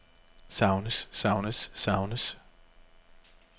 savnes savnes savnes